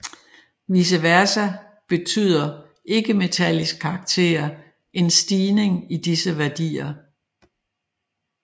Vice versa betyder en ikkemetallisk karakter en stigning i disse værdier